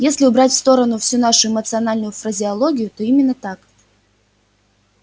если убрать в сторону всю вашу эмоциональную фразеологию то именно так